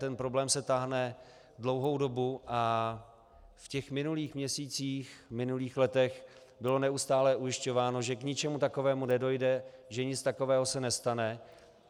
Ten problém se táhne dlouhou dobu a v těch minulých měsících, minulých letech bylo neustálo ujišťováno, že k ničemu takovému nedojde, že nic takového se nestane.